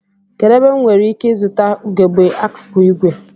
Kedụ ebe m nwereike ịzụta ugegbe akụkụ ìgwè?